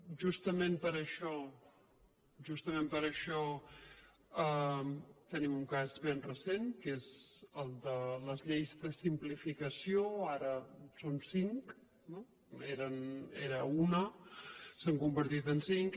justament per això justament per això tenim un cas ben recent que és el de les lleis de simplificació ara en són cinc no era una s’ha convertit en cinc